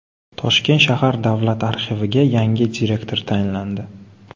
Toshkent shahar davlat arxiviga yangi direktor tayinlandi.